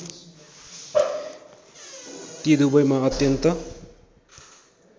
ती दुबैमा अत्यन्त